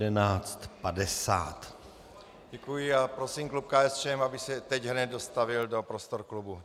Děkuji a prosím klub KSČM, aby se teď hned dostavil do prostor klubu.